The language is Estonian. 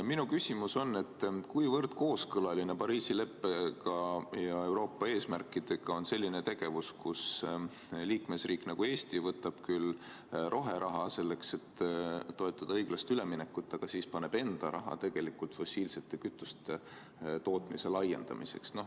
Minu küsimus on, et kuivõrd kooskõlas on Pariisi leppe ja Euroopa eesmärkidega selline tegevus, kus liikmesriik nagu Eesti võtab vastu roheraha, et toetada õiglast üleminekut, aga paneb enda raha fossiilsete kütuste tootmise laiendamisse.